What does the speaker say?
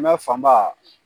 fan ba